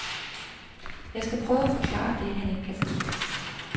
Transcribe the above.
Jeg skal prøve at forklare det, han ikke kan forstå.